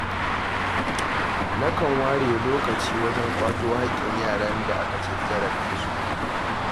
Nakan ware lokaci wajen ƙwato haƙƙin yaran da aka ci zarafinsu.